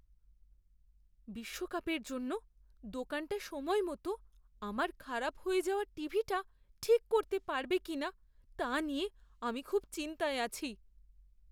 বিশ্বকাপের জন্য দোকানটা সময়মতো আমার খারাপ হয়ে যাওয়া টিভিটা ঠিক করতে পারবে কিনা তা নিয়ে আমি খুব চিন্তায় আছি।